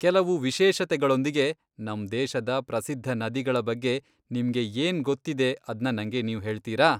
ಕೆಲವು ವಿಶೇಷತೆಗಳೊಂದಿಗೆ ನಮ್ ದೇಶದ ಪ್ರಸಿದ್ದ ನದಿಗಳ ಬಗ್ಗೆ ನಿಮ್ಗೆ ಏನ್ ಗೊತ್ತಿದೆ ಅದ್ನ ನಂಗೆ ನೀವು ಹೇಳ್ತೀರಾ?